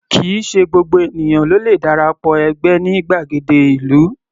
Kì í ṣe gbogbo ènìyàn ló le dara pọ̀ ẹgbẹ́ ní gbàgede ìlú.